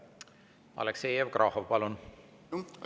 Aleksei Jevgrafov, palun!